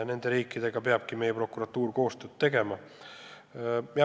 Nende riikidega peabki meie prokuratuur koostööd tegema.